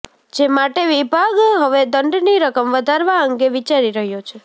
જે માટે વિભાગ હવે દંડની રકમ વધારવા અંગે વિચારી રહ્યો છે